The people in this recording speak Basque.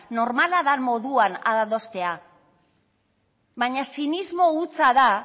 normala den moduan adostea baina zinismo hutsa da